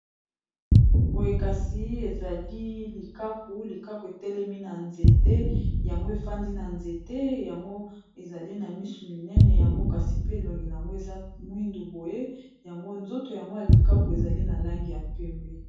Boye kasi ezali likaku, likako etelemi na nzete yango, efandi na nzete yango. Ezali na misu minene. Yango kasi pe, elongi yango eza mwindu boye. Yango nzoto yango ya likaku ezali na langi ya pembe.